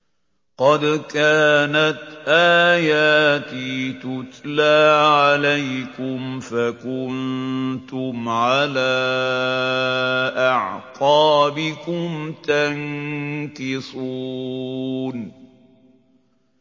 قَدْ كَانَتْ آيَاتِي تُتْلَىٰ عَلَيْكُمْ فَكُنتُمْ عَلَىٰ أَعْقَابِكُمْ تَنكِصُونَ